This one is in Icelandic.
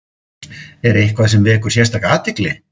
Er eitthvað sem vekur sérstaka athygli?